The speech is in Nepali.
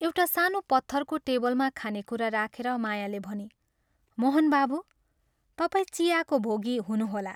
एउटा सानो पत्थरको टेबलमा खानेकुरा राखेर मायाले भनी, "मोहन बाबू, तपाईं चियाको भोगी हुनुहोला।